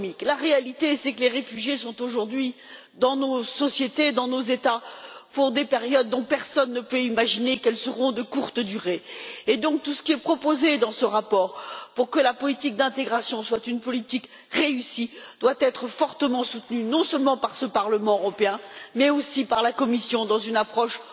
La réalité, c'est que les réfugiés sont aujourd'hui dans nos sociétés, dans nos États, pour des périodes dont personne ne peut imaginer qu'elles seront de courte durée. Par conséquent, tout ce qui est proposé dans ce rapport pour que la politique d'intégration soit un succès doit être fortement soutenu non seulement par ce Parlement européen, mais aussi par la Commission, dans une approche